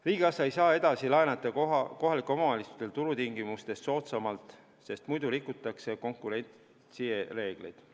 Riigikassa ei saa edasi laenata kohalikele omavalitsustele turutingimustest soodsamalt, sest muidu rikutakse konkurentsireegleid.